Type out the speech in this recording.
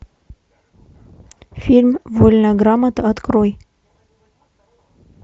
фильм вольная грамота открой